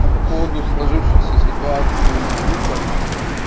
а по поводу сложившейся ситуации с дупой